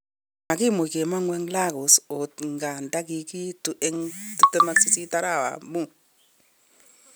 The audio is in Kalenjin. Makimuch kemogun eng Lagos ot ingandan kikiitu eng 28 arawet tab mut